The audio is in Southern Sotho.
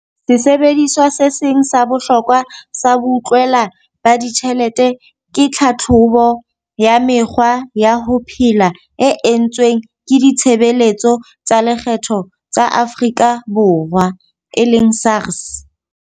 Sesebediswa se seng sa bohlokwa sa boutlwela ba ditjhelete ke tlhatlhobo ya mekgwa ya ho phela e entsweng ke Ditshebeletso tsa Lekgetho tsa Afrika Borwa e leng SARS.